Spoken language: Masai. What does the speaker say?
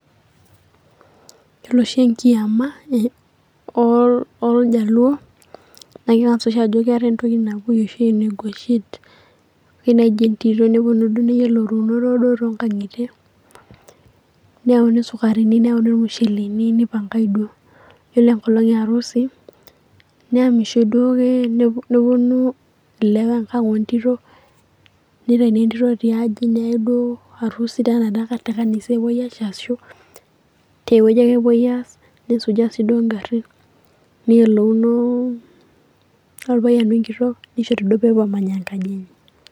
Yielo oshi enkiyama ooljaluo naa keng'as oshi ajo keetae intoyie naapuo oshi aenie enguashen, ore naaji entito neyiolounoro duo too ng'ang'itie neyauni esukarini neyauni elmusheleni neipanagae duo, Yiolo engolong' eyarusi, neaamisho duo ake neponu ilewa Engang' oo ntito, neitauni entito tiaji neyai duo atwa kanisa tenaa tekanisa duo epoe aitaas ashu tewueji ake epoe aas, nesuja sii duo egarrin neyiolouno oripayian wengitok, neishori duo peyie epuo aamany' enkaji enye.